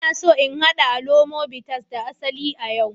Ina so in haɗa alomo bitters da asali a yau